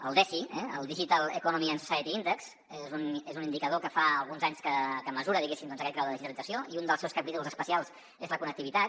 el desi el digital economy and society index és un indicador que fa alguns anys que mesura diguéssim doncs aquest grau de digitalització i un dels seus capítols especials és la connectivitat